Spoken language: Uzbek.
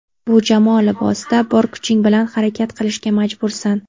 Bu jamoa libosida bor kuching bilan harakat qilishga majbursan.